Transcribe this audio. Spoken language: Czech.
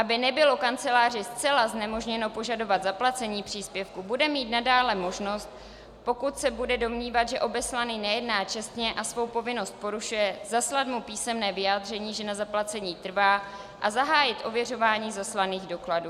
Aby nebylo kanceláři zcela znemožněno požadovat zaplacení příspěvku, bude mít nadále možnost, pokud se bude domnívat, že obeslaný nejedná čestně a svou povinnost porušuje, zaslat mu písemné vyjádření, že na zaplacení trvá, a zahájit ověřování zaslaných dokladů.